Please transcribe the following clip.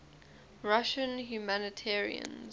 russian humanitarians